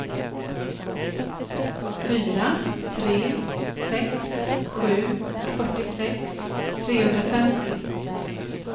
fyra tre sex sju fyrtiosex trehundrafemtio